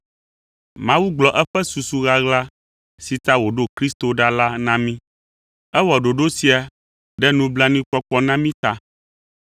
Mawu gblɔ eƒe susu ɣaɣla si ta wòɖo Kristo ɖa la na mí. Ewɔ ɖoɖo sia ɖe nublanuikpɔkpɔ na mí ta.